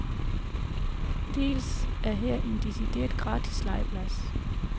Dels er her en decideret, gratis, legeplads.